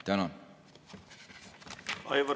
Tänan!